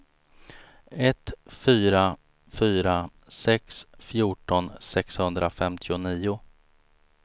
ett fyra fyra sex fjorton sexhundrafemtionio